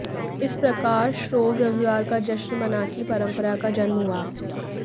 इस प्रकार श्रोव रविवार का जश्न मना की परंपरा का जन्म हुआ